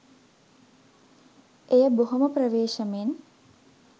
එය බොහොම ප්‍රවේශමෙන්